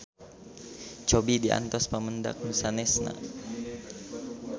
Cobi diantos pamendak nu sanesna.